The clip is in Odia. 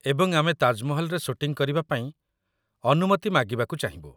ଏବଂ ଆମେ ତାଜମହଲରେ ସୁଟିଂ କରିବା ପାଇଁ ଅନୁମତି ମାଗିବାକୁ ଚାହିଁବୁ।